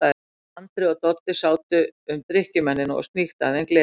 Andri og Doddi sátu um drykkjumennina og sníktu af þeim glerin.